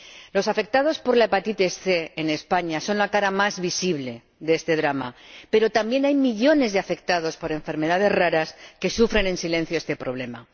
Los afectados por la hepatitis C en España son la cara más visible de este drama, pero también hay millones de afectados por enfermedades raras que sufren en silencio este problema.